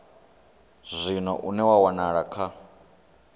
zwino une wa wanala kha